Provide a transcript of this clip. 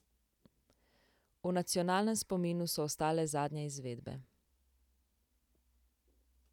V nacionalnem spominu so ostale zadnje izvedbe.